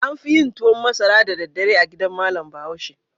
An fi yin tuwan masara da daddare a gidan malam Bahaushe.